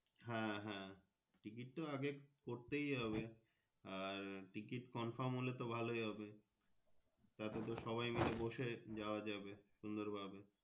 হ্যাঁ হ্যাঁ Ticket তো আগে করতেই হবে আর Ticket Confirm হোলে তো ভালোই হবে তাতে তোর মেলে বসে যাওয়া যাবে সুন্দর ভাবে।